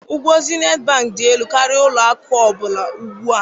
Ụgwọ Zenith Bank dị elu karịa ụlọ akụ ọ bụla ugbu a